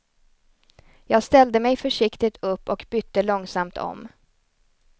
Jag ställde mig försiktigt upp och bytte långsamt om.